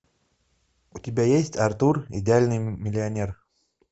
у тебя есть артур идеальный миллионер